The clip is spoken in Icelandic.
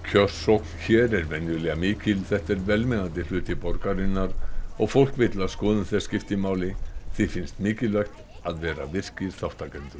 kjörsókn hér er venjulega mikil þetta er velmegandi hluti borgarinnar og fólk vill að skoðun þess skipti máli því finnst mikilvægt að vera virkir þátttakendur